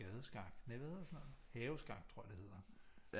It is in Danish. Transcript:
Gade skak nej hvad hedder sådan noget haveskak tror jeg det hedder